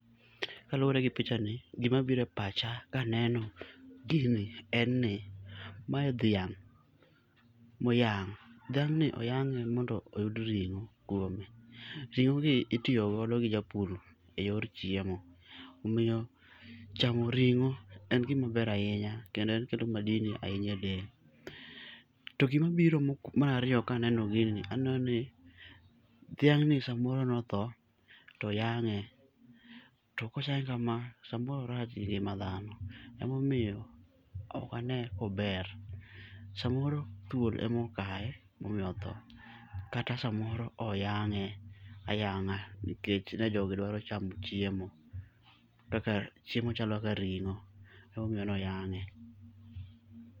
Kaluwore gi picha ni gimabire pacha kaneno gini en ni, mae dhiang' moyang'. Dhiang'ni oyang'e mondo oyud ring'o kuome, ring'o gi itiyogodo gi japur e yor chiemo, omiyo chamo ring'o en gima ber ahinya kendo en okelo madini ahinya a del. To gimabiro mok marariyo kaneno gini aneno ni dhiang'ni samoro notho, toyang'e. To koseyang'e kama, samoro orach gi ngima dhano. Emomiyo okane kober. Samoro thuol emokaye momiyo otho, kata samoro oyang'e ayang'a nikech ne jogi dwaro chamo chiemo. Chiemo ma chalo kaka ring'o, emomiyo noyang'e.